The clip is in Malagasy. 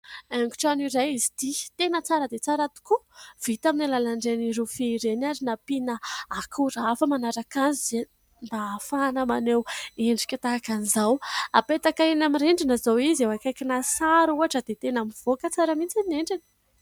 Haingon-trano iray izy ity, tena tsara dia tsara tokoa vita amin'ny alalan'ireny rofia ireny ary nampiana akora hafa manaraka azy mba ahafahana maneho endrika tahaka an'izao. Hapetaka eny amin'ny rindrina izao izy akaiky sary ohatra dia tena mivoaka tsara mihitsy ny endriny.